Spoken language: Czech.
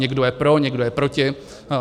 Někdo je pro, někdo je proti.